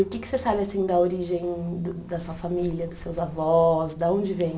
O que que você sabe assim da origem de da sua família, dos seus avós, da onde vêm?